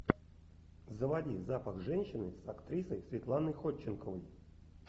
заводи запах женщины с актрисой светланой ходченковой